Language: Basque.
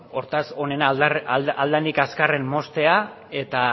hortaz onena ahalik eta azkarren moztea eta